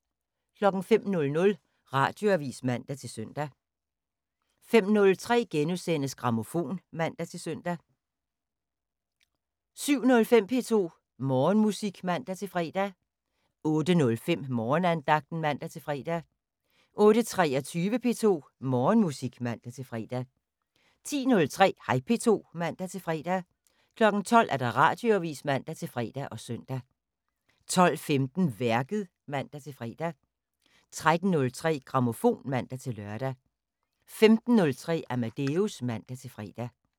05:00: Radioavis (man-søn) 05:03: Grammofon *(man-søn) 07:05: P2 Morgenmusik (man-fre) 08:05: Morgenandagten (man-fre) 08:23: P2 Morgenmusik (man-fre) 10:03: Hej P2 (man-fre) 12:00: Radioavis (man-fre og søn) 12:15: Værket (man-fre) 13:03: Grammofon (man-lør) 15:03: Amadeus (man-fre)